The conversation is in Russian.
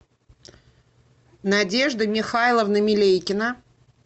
надежда михайловна милейкина